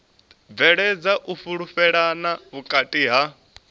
bveledza u fhulufhelana vhukati ha